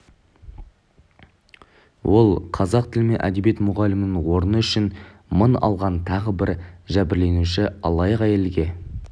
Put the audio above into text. ол қазақ тілі мен әдебиеті мұғалімінің орны үшін мың алған тағы бір жәбірленуші алаяқ әйелге